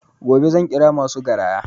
Gobe zan ƙira masu garaya